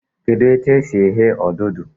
Kedụ etu e si eghe odudu?